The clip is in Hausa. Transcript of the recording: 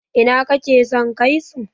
ina kake son kai su?